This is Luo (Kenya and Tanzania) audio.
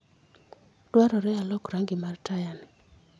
Dwarore alok rangi mar tayani.